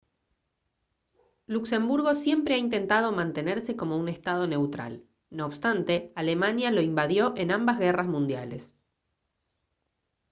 luxemburgo siempre ha intentado mantenerse como un estado neutral no obstante alemania lo invadió en ambas guerras mundiales